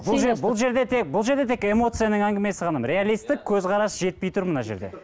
бұл жерде тек бұл жерде тек эмоцияның әңгімесі ғана реалистік көзқарас жетпей тұр мына жерде